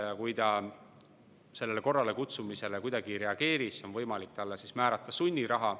Ja kui ta sellele korralekutsumisele kuidagi ei reageeri, on võimalik talle määrata sunniraha.